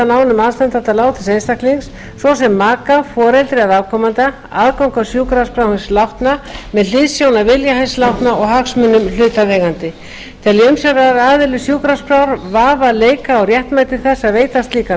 nánum aðstandanda látins einstaklings svo sem maka foreldri eða afkomanda aðgang að sjúkraskrá hins látna með hliðsjón af vilja hins látna og hagsmunum hlutaðeigandi telji umsjónaraðili sjúkraskrár vafa leika á réttmæti þess að veita slíkan